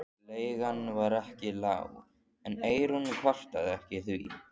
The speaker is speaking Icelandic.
Leigan var ekki lág en Eyrún kvartaði ekki því